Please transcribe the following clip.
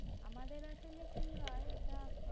আমাদের আসলে কি হয়? এটা